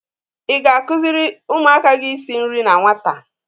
I ga-akụziri ụmụaka gị isi nri na nwata?